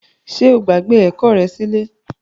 Ṣe o gbagbe ẹkọ rẹ silẹ?